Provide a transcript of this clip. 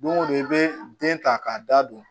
Don o don i bɛ den ta k'a da don